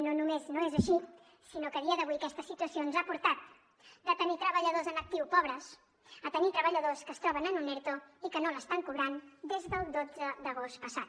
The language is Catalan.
no només no és així sinó que a dia d’avui aquesta situació ens ha portat de tenir treballadors en actiu pobres a tenir treballadors que es troben en un erto i que no l’estan cobrant des del dotze d’agost passat